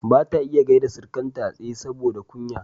bata iya gyaida Sirikanta a tsaye saboda kunya